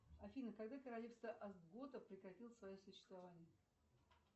афина когда королевство остготов прекратило свое существование